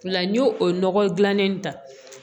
O la n y'o o nɔgɔ dilan in ta